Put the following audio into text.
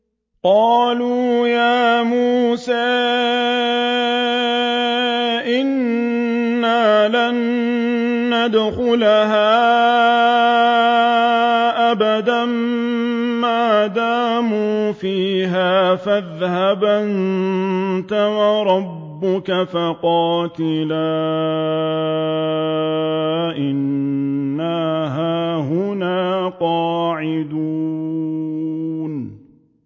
قَالُوا يَا مُوسَىٰ إِنَّا لَن نَّدْخُلَهَا أَبَدًا مَّا دَامُوا فِيهَا ۖ فَاذْهَبْ أَنتَ وَرَبُّكَ فَقَاتِلَا إِنَّا هَاهُنَا قَاعِدُونَ